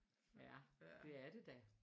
Ja det er det da